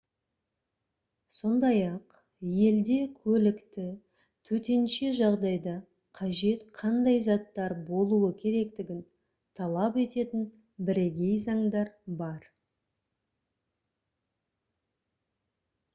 сондай-ақ әр елде көлікте төтенше жағдайда қажет қандай заттар болуы керектігін талап ететін бірегей заңдар бар